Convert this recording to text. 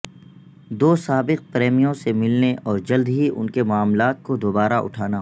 دو سابق پریمیوں سے ملنے اور جلد ہی ان کے معاملات کو دوبارہ اٹھانا